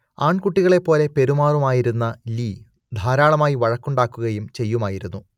ആൺകുട്ടികളെപ്പോലെ പെരുമാറുമായിരുന്ന ലീ ധാരാളമായി വഴക്കുണ്ടാക്കുകയും ചെയ്യുമായിരുന്നു